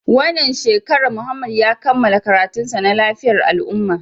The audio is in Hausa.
Wannan shekarar Muhammad ya kammala karatunsa na lafiyar al'ummah